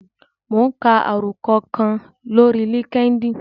Mò ún ka àròkọ kan lórí líkídíìnì